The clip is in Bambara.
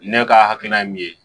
Ne ka hakilina ye min ye